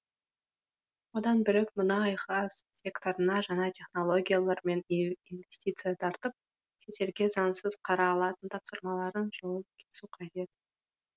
одан бөлек мұнай газ секторына жаңа технологиялар мен инвестиция тартып шетелге заңсыз қара алтын тасымалының жолын кесу қажет